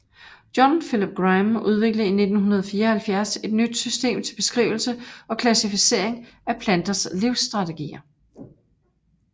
John Philip Grime udviklede i 1974 et nyt system til beskrivelse og klassificering af planters livsstrategier